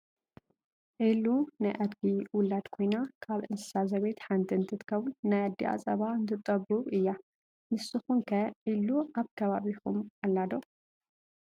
ዒሉ ናይ ኣድጊ ውላድ ኮይና ካብ እንስሳ ዘቤት ሓንቲ እንትከውን ናይ ኣዴኣ ፃባ እትጠቡብ እያ። ንስኩም ከ ዒሉ ኣብ ከባቢኩም ኣላ ዶ ?